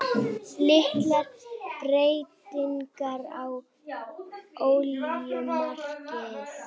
Litlar breytingar á olíumarkaði